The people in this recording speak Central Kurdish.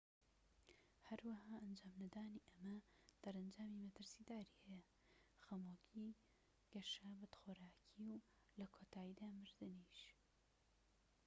هەروەها ئەنجام نەدانی ئەمە دەرەنجامی مەترسیداری هەیە خەمۆکی گەشە بەدخۆراکی و لە کۆتاییدا مردنیش